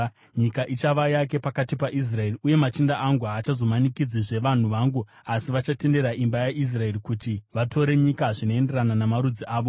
Nyika iyi ichava yake pakati paIsraeri. Uye machinda angu haachazomanikidzizve vanhu vangu asi vachatendera imba yaIsraeri kuti vatore nyika zvinoenderana namarudzi avo.